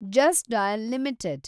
just Dial limited